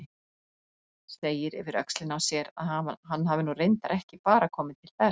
Segir yfir öxlina á sér að hann hafi nú reyndar ekki bara komið til þess.